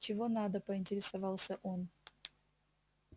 чего надо поинтересовался он